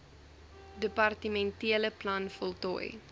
departementele plan voltooi